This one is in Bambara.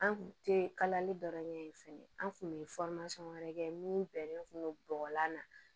An kun tɛ kalali dɔ ɲɛ ye fɛnɛ an kun bɛ wɛrɛ kɛ min bɛ bɔgɔlan na